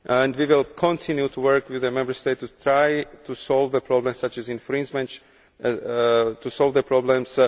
We will continue to work with the Member States to try to solve the problems.